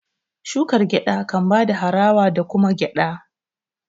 shukar gyada kan bada harawa da kuma gyada